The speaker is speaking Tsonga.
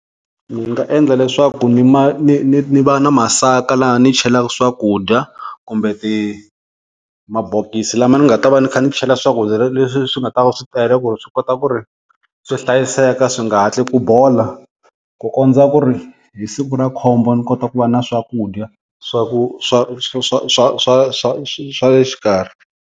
Ndzi nga endla leswaku ni ma ni ni ni va na masaka laha ni chelaka swakudya, kumbe mabokisi lama ni nga ta va ni kha ni chela swakudya leswi swi nga ta va swi tele ku ri swi kota ku ri swi hlayiseka swi nga hatli ku bola, ku kondza ku ri hi siku ra khombo ni kota ku va na swakudya swa ku swa swa swa swa swa le xikarhi.